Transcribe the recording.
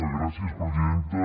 gràcies presidenta